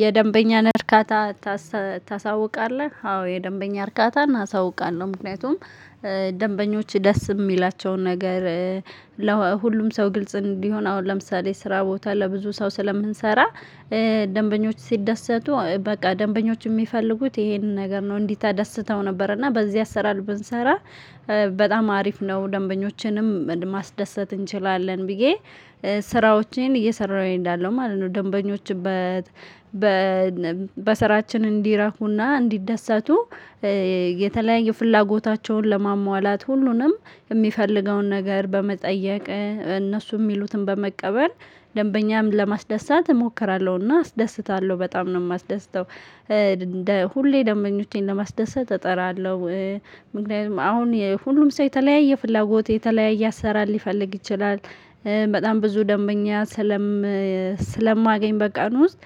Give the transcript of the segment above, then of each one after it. የደንበኛን እርካታ ታስ ታሳውቃለህ አዎ የደንበኛ እርካታን አሳውቃለሁ። ምክንያቱም ደንበኞች ደስ የሚላቸውን ነገር ለሁሉም ሰው ግልጽ እንዲሆን። አሁን ለምሳሌ ስራ ቦታ ለብዙ ሰው ስለምንሰራ። ደንበኞች ሲደሰቱ በቃ ደንበኞች የሚፈልጉት ይሄንን ነገር ነው እንዲህ ተደስተው ነበር። እና በዚህ አሰራር ብንሰራ በጣም አሪፍ ነው። ደንበኞችንም ማስደሰት እንችላለን ብዬ ስራዎቼን እየሰራሁ እንዳለው ማለት ነው። ደንበኞችን በ በ በስራችን እንዲረኩና እንዲደሰቱ። የተለያየ ፍላጎታቸውን ለማሟላት ሁሉንም የሚፈልገውን ነገር በመጠየቅ እነሱ የሚሉትን በመቀበል ደንበኛም ለማስደሰት እሞክራለሁና አስደስታለሁ በጣም ነው የማስደስተው። እንደ ሁሌ ደንበኞቼን ለማስደሰት እጠራለሁ። ምክንያቱም አሁን ሁሉም ሰው የተለያየ ፍላጎት የተለያየ አሰራር ሊፈልግ ይችላል። በጣም ብዙ ደንበኛ ስለም ስለማገኝ በቀን ውስጥ።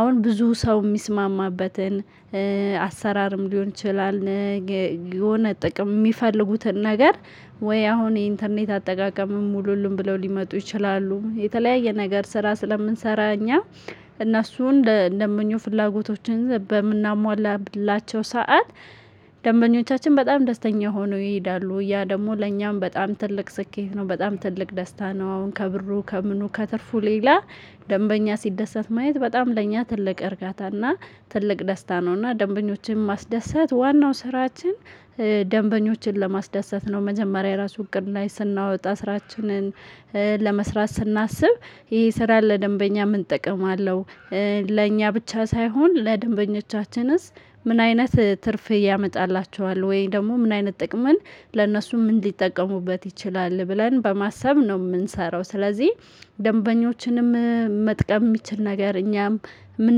አሁን ብዙ ሰው የሚስማማበትን አሰራርም ሊሆን ይችላል። የሆነ ጥቅም የሚፈልጉትን ነገር ወይ አሁን የኢንተርኔት አጠቃቀምም ሙሉልም ብለው ሊመጡ ይችላሉ የተለያየ ነገር ስራ ስለምንሰራ። እኛ እነሱን እንደ እንደ ምኞት ፍላጎቶችን በምናሟላብላቸው ሰዓት ደንበኞቻችን በጣም ደስተኛ ሆነው ይሄዳሉ ያ ደግሞ ለኛም በጣም ትልቅ ስኬት ነው። በጣም ትልቅ ደስታ ነው። አሁን ከብሩ ከምኑ ከትርፉ ሌላ ደንበኛ ሲደሰት ማየት በጣም ለእኛ ትልቅ እርጋታና ትልቅ ደስታ ነውና። ደንበኞችን ማስደሰት ዋናው ስራችን። ደንበኞችን ለማስዳሰት ነው መጀመሪያ የራሱን እቅድ ላይ ስናወጣ ስራችንን ስናስብ ይሄ ስራ ለደንበኛ ምን እጠቀማለሁ? ለእኛ ብቻ ሳይሆን ለደንበኞቻችንስ? ምን አይነት ትርፍ ያመጣላቸዋል ወይ ደግሞ ምን አይነት ጥቅምን ለእነሱ ምን ሊጠቀሙበት ይችላል? ብለን በማሰብ ነው የምንሰራው። ስለዚህ ደንበኞችንም መጥቀም የሚችል ነገር እኛም ምን?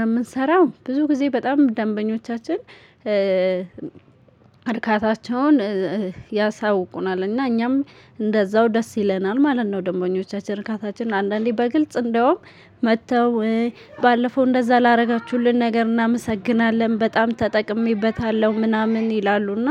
የምንሰራው ብዙ ጊዜ በጣም ደንበኞቻችን አርካታቸውን ያሳውቁናል። እና እኛም እንደዛው ደስ ይለናል ማለት ነው። ደምቦኞቻችን እርካታችን አንዳንዴ በግልጽ እንደውም መጥተው ባለፈው እንደዛ ላደረጋችሁልን ነገር እናመሰግናለን በጣም ተጠቅሜበታለሁ ምናምን ይላሉና